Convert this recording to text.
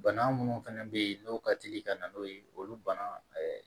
Bana munnu fana bɛ yen n'o ka teli ka na n'o ye olu bana